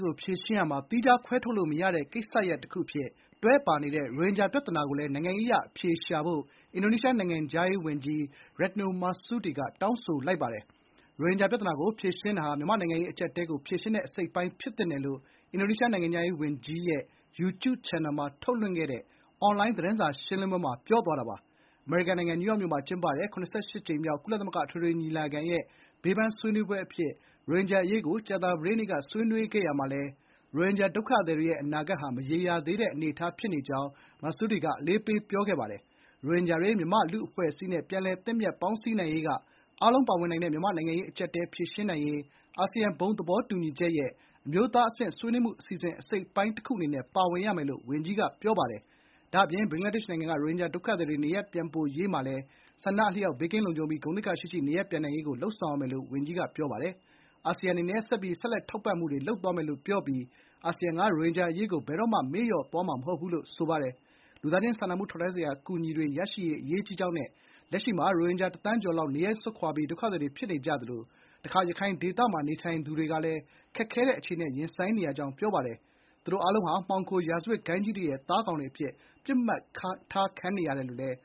ကို ဖြေရှင်းရာမှာ သီးခြားခွဲထုတ်လို့မရတဲ့ ကိစ္စရပ်တခုအဖြစ် တွဲပါနေတဲ့ ရိုဟင်ဂျာပြဿနာကိုလည်း နိုင်ငံရေးအရအဖြေရှာဖို့ အင်ဒိုနီးရှားနိုင်ငံခြားရေးဝန်ကြီး Retno Marsudi က တောင်းဆိုလိုက်ပါတယ်။ “ရိုဟင်ဂျာပြဿနာကို ဖြေရှင်းတာဟာ မြန်မာ့နိုင်ငံရေး အကျပ်အတည်းကို ဖြေရှင်းတဲ့ အစိတ်အပိုင်း ဖြစ်သင့်ပါတယ်”လို့ အင်ဒိုနီးရှား နိုင်ငံခြားရေးဝန်ကြီးဌာနရဲ့ YouTube ချန်နယ်မှာ ထုတ်လွှင့်ခဲ့တဲ့ အွန်လိုင်း သတင်းစာရှင်းလင်းပွဲမှာ ဝန်ကြီး Marsudi က ပြောပါတယ်။ အမေရိကန်နိုင်ငံ နယူးယောက်မြို့မှာ ကျင်းပတဲ့ (၇၈)ကြိမ်မြောက် ကုလသမဂ္ဂ အထွေထွေညီလာခံရဲ့ ဘေးပန်း ဆွေးနွေးပွဲအဖြစ် ရိုဟင်ဂျာအရေးကို ကြာသပတေးနေ့က ဆွေးနွေးရာမှာလည်း ရိုဟင်ဂျာဒုက္ခသည်တွေရဲ့ အနာဂတ်ဟာ မရေရာသေးတဲ့ အနေအထားအဖြစ် Marsudi က အလေးပေး ပြောခဲ့ပါတယ်။ ရိုဟင်ဂျာတွေ မြန်မာ့လူ့အဖွဲ့အစည်းနဲ့ ပြန်လည်သင့်မြတ် ပေါင်းစည်းနိုင်ရေးက အားလုံးပါဝင်နိုင်တဲ့ မြန်မာ့နိုင်ငံရေး အကျပ်အတည်း ဖြေရှင်းနိုင်ရေး အာဆီယံ ဘုံသဘောတူညီချက်ရဲ့ အမျိုးသားအဆင့်ဆွေးနွေးမှု အစီအစဉ်အစိတ်အပိုင်း တခုအနေနဲ့ ပါဝင်ရမယ်လို့ ဝန်ကြီးက ပြောပါတယ်။ ဒါ့အပြင် ဘင်္ဂလားဒေ့ရှ်နိုင်ငံကနေ ရိုဟင်ဂျာဒုက္ခသည်တွေ နေရပ်ပြန်ပို့ရေးမှာလည်း ဆန္ဒအလျောက် ဘေးကင်းလုံခြုံပြီး ဂုဏ်သိက္ခာရှိရှိ နေရပ်ပြန်နိုင်ရေးကိုပဲ လုပ်ဆောင်ရမယ်လို့ ဝန်ကြီးက အလေးပေးပြောပါတယ်။ “အာဆီယံ အနေနဲ့ ဆက်ပြီး ဆက်လက်ထောက်ပံ့မှုတွေ လုပ်သွားမယ်လို့ ပြောပြီး အာဆီယံက ရိုဟင်ဂျာအရေးကို ဘယ်တော့မှ မေ့လျော့ထားမှာ မဟုတ်ဘူး” လို့လည်း ပြောပါတယ်။လူသားချင်း စာနာထောက်ထားမှုဆိုင်ရာ အကူအညီတွေရရှိရေးက အရေးကြီးကြောင်းနဲ့ “လက်ရှိမှာ ရိုဟင်ဂျာ တစ်သန်းကျော်လောက် နေရပ်စွန့်ခွာပြီး ဒုက္ခသည်တွေ ဖြစ်နေကြသလို တခါ ရခိုင်ဒေသမှာ နေထိုင်တဲ့ သူတွေကလည်း ခက်ခဲတဲ့ အခြေအနေနဲ့ ရင်ဆိုင်နေရပါတယ်။ သူတို့ အားလုံးဟာ မှောင်ခို ရာဇဝတ်ဂိုဏ်းကြီးတွေရဲ့ သားကောင်တွေအဖြစ် ပစ်မှတ်ထားခံနေရတယ်လို့လည်း